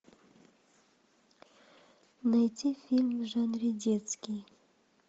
найти фильм в жанре детский